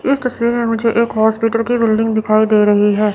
इस तस्वीर में मुझे एक हॉस्पिटल की बिल्डिंग दिखाई दे रही है।